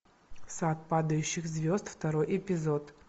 сад падающих звезд второй эпизод